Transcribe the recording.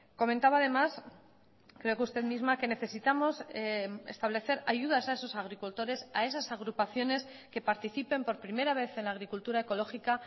comentaba además creo que usted misma que necesitamos establecer ayudas a esos agricultores a esas agrupaciones que participen por primera vez en la agricultura ecológica